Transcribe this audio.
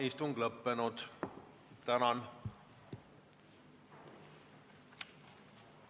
Istungi lõpp kell 15.57.